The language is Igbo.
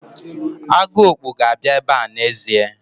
Agụokpu ga-abịa ebe n'ezie.